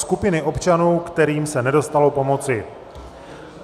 Skupiny občanů, kterým se nedostalo pomoci